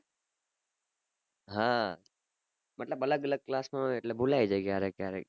હા મતલબ અલગ અલગ class માં હોય એટલે ભુલાઈ જાય ક્યારેક ક્યારેક